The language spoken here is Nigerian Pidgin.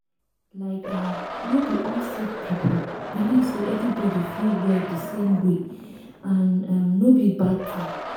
like eeh no be all sick people believe say everybody fit well di same way and um no be bad tin.